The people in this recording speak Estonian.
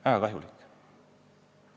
Väga kahjulik.